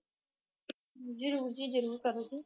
ਜਰੂਰ ਜੀ ਜਰੂਰ ਕਰੋ ਜੀ